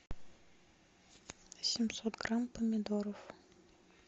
семьсот грамм помидоров